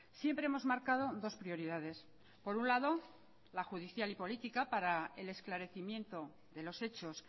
siempre hemos marcado dos prioridades por un lado la judicial y política para el esclarecimiento de los hechos